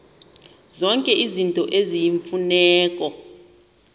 zonke izinto eziyimfuneko